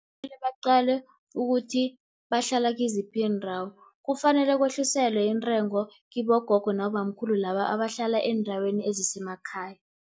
Kumele baqalwe ukuthi bahlala kiziphi iindawo, kufanele kwehliselwe intengo kibogogo, nabobamkhulu laba abahlala eendaweni ezisemakhaya.